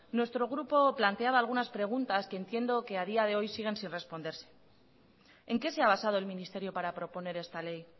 nuestro grupo planteaba algunas preguntas que entiendo que a día de hoy siguen sin responderse en qué se ha basado el ministerio para proponer esta ley